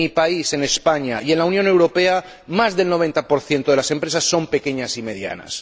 En mi país, en España, y en la Unión Europea, más del 90 de las empresas son pequeñas y medianas.